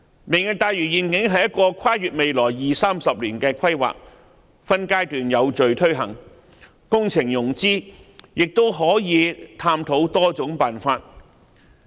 "明日大嶼願景"是一個跨越未來二三十年的規劃，會分階段有序推行，工程融資亦可探討多種辦法。